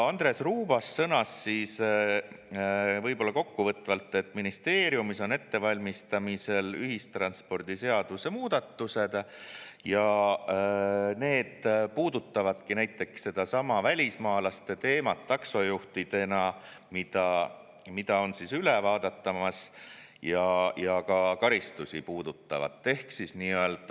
Andres Ruubas sõnas siis võib-olla kokkuvõtvalt, et ministeeriumis on ettevalmistamisel ühistranspordiseaduse muudatused ja need puudutavadki näiteks sedasama välismaalaste taksojuhtidena teemat, mis on, ja ka karistusi puudutavat.